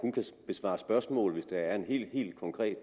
besvare spørgsmål hvis der er en helt konkret